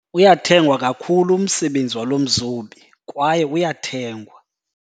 Uyathengwa kakhulu umsebenzi walo mzobi kwaye uyathengwa.